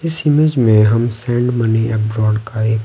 इस इमेज में हम सेंड मनी का एक--